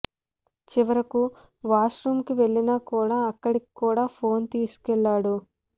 చివరకు washroom వెళ్లినా కూడా అక్కడికి కూడా ఫోన్ తీసుకెళ్తాడు